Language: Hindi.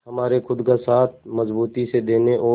हमारे खुद का साथ मजबूती से देने और